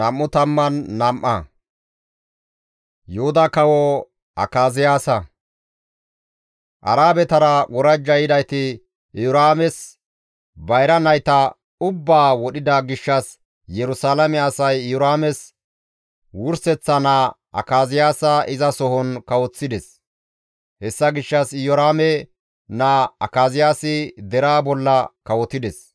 Arabetara worajja yidayti Iyoraames bayra nayta ubbaa wodhida gishshas Yerusalaame asay Iyoraames wurseththa naa Akaziyaasa izasohon kawoththides; hessa gishshas Iyoraame naa Akaziyaasi deraa bolla kawotides.